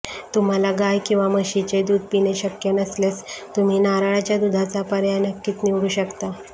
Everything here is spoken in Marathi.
तुम्हांला गाय किंवा म्हशीचे दूध पिणे शक्य नसल्यास तुम्ही नारळाच्या दुधाचा पर्याय नक्कीच निवडू शकता